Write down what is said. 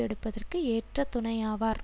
எடுப்பதற்கு ஏற்ற துணையாவார்